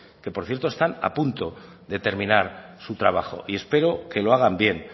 que por cierto están a punto de terminar su trabajo y espero que lo hagan bien